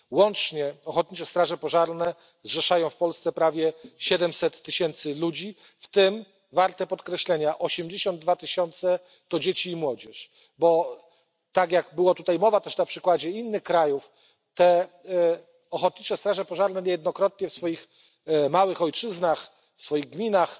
Łącznie Ochotnicze Straże Pożarne zrzeszają w Polsce prawie 700 tysięcy ludzi, w tym co warte podkreślenia 82 tysiące to dzieci i młodzież, bo tak jak była tutaj mowa, też na przykładzie innych krajów, te ochotnicze straże pożarne niejednokrotnie w swoich małych ojczyznach, w swoich gminach,